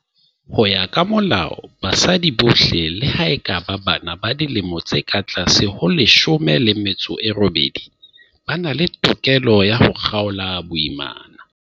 Ho ya ka Molao, basadi bohle, le ha e ka ba bana ba dilemo di ka tlase ho 18, ba na le tokelo ya ho kgaola boimana.